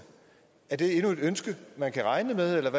er det et ønske man kan regne med eller